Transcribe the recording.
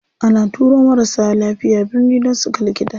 Ana turo marasa lafiya birni dan suga likita.